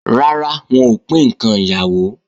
Rara, wọn ò pín ǹkan ìyàwó